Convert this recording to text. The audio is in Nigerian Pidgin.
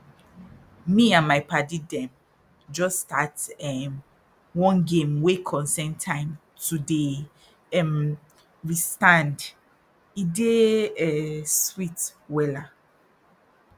me and my padi dem jus start erm one game wey concern time to dey um restand e dey um sweet wella